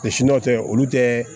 siniwakɛ olu tɛ